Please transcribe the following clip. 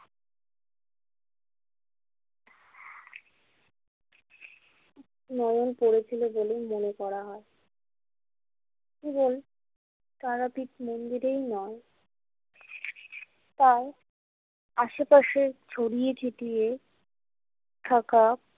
নয়ন পড়েছিল বলেই মনে করা হয় এবং তারাপীঠ মন্দিরেই নয় তার আশেপাশে ছড়িয়ে ছিটিয়ে থাকা।